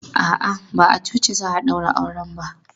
A'a, ba a coci za a ɗaura auren ba.